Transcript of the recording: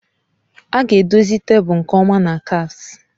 A ga-edozi tebụl nke ọma na kafes.